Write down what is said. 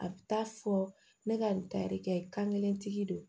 A bɛ taa fɔ ne ka nin tari kɛ kan kelentigi